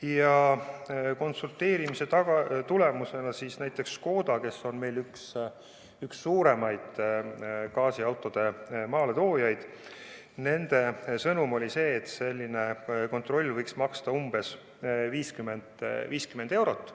Ja konsulteerimise tulemusena näiteks Škoda – kes on meil üks suurimaid gaasiautode maaletoojaid – sõnum oli see, et selline kontroll võiks maksta umbes 50 eurot.